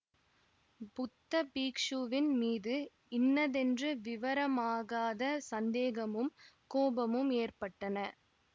புத்த பிக்ஷுவின் மீது இன்னதென்று விவரமாகாத சந்தேகமும் கோபமும் ஏற்பட்டன